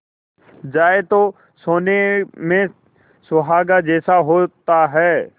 जाए तो सोने में सुहागा जैसा होता है